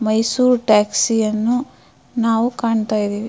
Mysore taxi ಅನ್ನು ನಾವು ಕಾಣ್ತಾ ಇದಿವಿ.